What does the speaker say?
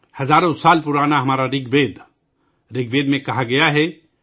ہزاروں سال پرانا ہمارا رِگ وید رِگ وید میں کہا گیا ہے